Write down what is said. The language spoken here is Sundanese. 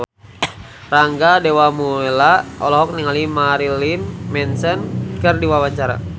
Rangga Dewamoela olohok ningali Marilyn Manson keur diwawancara